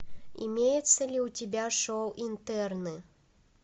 имеется ли у тебя шоу интерны